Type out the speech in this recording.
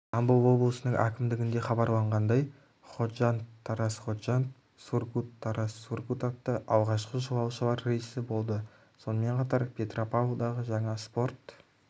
жамбыл облысының әкімдігінде хабарлағандай ходжанд-тараз-ходжанд сургут-тараз-сургут атты алғашқы жолаушылар рейсі болды сонымен қатар петропавлдағы жаңа спорт